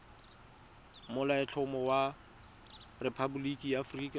molaotlhomo wa rephaboliki ya aforika